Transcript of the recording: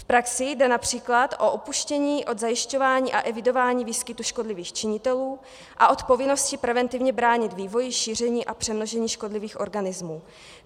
V praxi jde například o upuštění od zajišťování a evidování výskytu škodlivých činitelů a od povinnosti preventivně bránit vývoji, šíření a přemnožení škodlivých organismů.